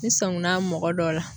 Ni sɔnguna bi mɔgɔ dɔ la